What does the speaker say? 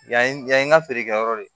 Yan yan in ka feerekɛyɔrɔ de